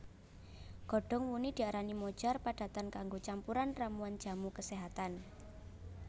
Godhong wuni diarani mojar padatan kanggo campuran ramuan jamu keséhatan